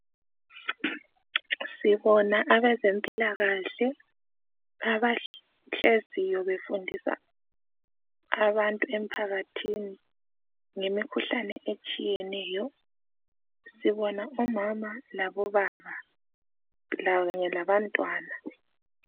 Sibona abezempilakahle abahleziyo befundisa abantu emphakathini ngemikhuhlane etshiyeneyo. Sibona umama labobaba kanye labantwana